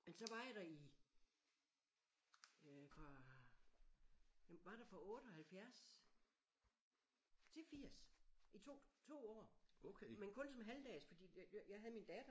Men så var jeg der i øh fra jamen var der fra 78 til 80 i 2 2 år men kun som halvdags fordi jeg jeg havde min datter